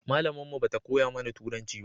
Malamin mu ba ta koya mana turanci ba